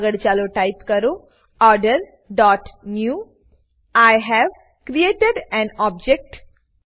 આગળ ચાલો ટાઈપ કરીએ ઓર્ડર ડોટ newઆઇ હવે ક્રિએટેડ એએન ઓબ્જેક્ટ